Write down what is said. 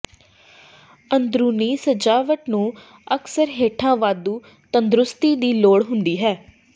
ਅੰਦਰੂਨੀ ਸਜਾਵਟ ਨੂੰ ਅਕਸਰ ਹੇਠਾਂ ਵਾਧੂ ਤੰਦਰੁਸਤੀ ਦੀ ਲੋੜ ਹੁੰਦੀ ਹੈ